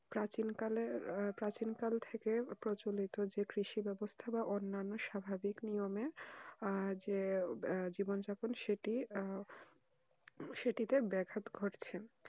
প্রাচীন কালে প্রাচীন কাল থেকে প্রচলিত যে কৃষি ব্যবস্থা অনন্য স্বাভাবিক নিয়মে আহ যে জীবন যাপন সেটি আহ সেটিতে ব্যাঘাত ঘটছে